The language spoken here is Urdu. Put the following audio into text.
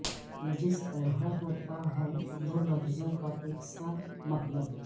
جس طرح ہوتا ہے دو لفظوں کا یکساں مطلب